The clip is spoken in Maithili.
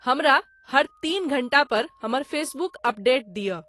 हमरा हर तीन घंटा पर हमर फेसबुक अपडेट दिअ